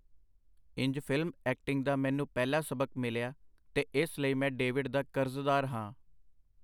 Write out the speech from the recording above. ਇੰਜ ਫਿਲਮ-ਐਕਟਿੰਗ ਦਾ ਮੈਨੂੰ ਪਹਿਲਾ ਸਬਕ ਮਿਲਿਆ, ਤੇ ਇਸ ਲਈ ਮੈਂ ਡੇਵਿਡ ਦਾ ਕਰਜ਼ਦਾਰ ਹਾਂ.